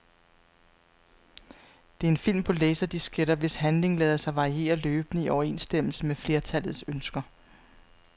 Det er en film på laserdisketter, hvis handling lader sig variere løbende i overensstemmelse med flertallets ønsker.